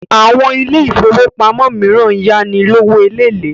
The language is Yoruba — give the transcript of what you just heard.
Àwọn ilé ifówópamọ́ míràn ń yá ni lówó eléèlé